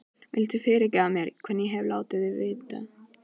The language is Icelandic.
Viltu fyrirgefa mér hvernig ég hef látið við þig?